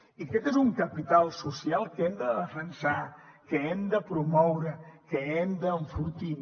i aquest és un capital social que hem de defensar que hem de promoure que hem d’enfortir